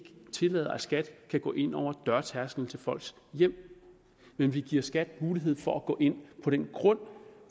tillader at skat kan gå ind over dørtærskelen til folks hjem men vi giver skat mulighed for at gå ind på den grund